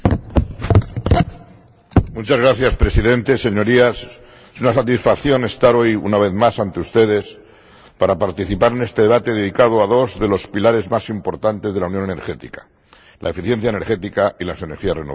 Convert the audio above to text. Señor Presidente, Señorías, es una satisfacción estar hoy, una vez más ante ustedes, para participar en este debate dedicado a dos de los pilares más importantes de la unión energética la eficiencia energética y las energías renovables.